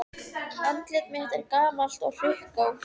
Andlit mitt er gamalt og hrukkótt.